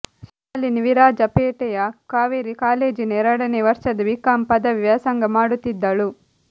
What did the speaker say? ಶಾಲಿನಿ ವಿರಾಜಪೇಟೆಯ ಕಾವೇರಿ ಕಾಲೇಜಿನ ಎರಡನೇ ವರ್ಷದ ಬಿಕಾಂ ಪದವಿ ವ್ಯಾಸಂಗ ಮಾಡುತ್ತಿದ್ದಳು